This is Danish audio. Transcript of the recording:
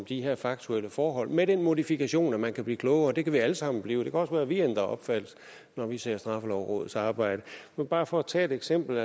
de her faktuelle forhold med den modifikation at man kan blive klogere det kan vi alle sammen blive det kan også være vi ændrer opfattelse når vi ser straffelovrådets arbejde bare for at tage et eksempel